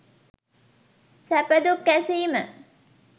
සැපදුක් ඇසීම